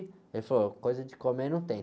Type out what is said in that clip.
Ele falou, coisa de comer não tem.